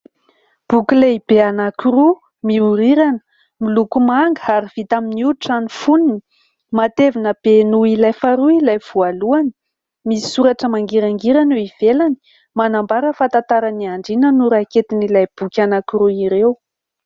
Boky lehibe anankiroa miorirana miloko manga ary vita amin'ny hoditra ny foniny, matevina be noho ilay faharoa ilay voalohany. Misoratra mangirangirana eo ivelany manambara fa « tantaran'ny andriana » no raketin'ilay boky anankiroa ireo.